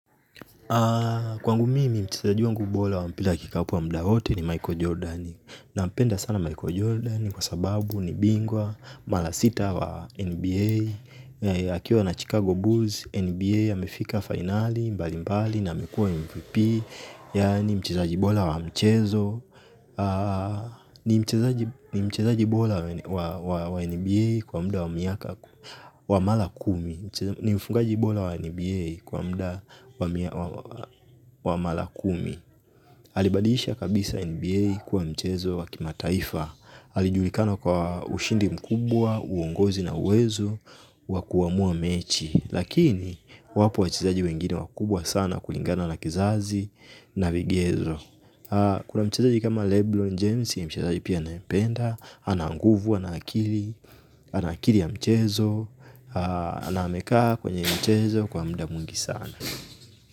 Kwangu mimi mchezaji wangu bora wa mpila wa kikapu wa mda wote ni Michael Jordan. Nampenda sana Michael Jordan kwa sababu ni bingwa, mala sita wa NBA. Akiwa na Chicago Bulls, NBA amefika fainali mbali mbali na amekuwa MVP. Yaani mchezaji bola wa mchezo. Ni mchezaji bola wa NBA kwa muda wa miaka wa mala kumi. Ni mfungaji bola wa NBA kwa muda wa mala kumi. Hali badilisha kabisa NBA kuwa mchezo wa kimataifa. Halijulikana kwa ushindi mkubwa, uongozi na uwezo wa kuamua mechi lakini wapo wachezaji wengine wakubwa sana kulingana na kizazi na vigezo. Kuna mchezo kama Leblon James si mchezaji pia nayependa ananguvu, anakili, anakili ya mchezo. Anameka kwenye mchezo kwa muda mwingi sana.